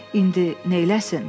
İndi neyləsin?